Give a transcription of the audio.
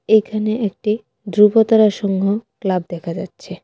এখানে একটি ধ্রুবতারা সংঘ ক্লাব দেখা যাচ্ছে.